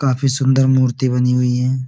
काफी सुंदर मूर्ति बनी हुई है।